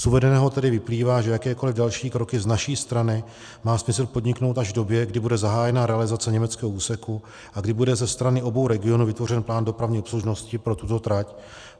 Z uvedeného tedy vyplývá, že jakékoliv další kroky z naší strany má smysl podniknout až v době, kdy bude zahájena realizace německého úseku a kdy bude ze strany obou regionů vytvořen plán dopravní obslužnosti pro tuto trať.